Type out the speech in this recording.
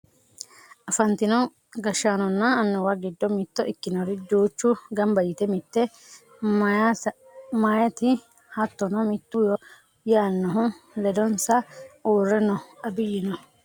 afantino gashshaanonna annuwu giddo mitto ikinori duuchu ganba yite mitte mayeeti hattono mittu yoo yaannohu ledonsa uurre no abiyyino no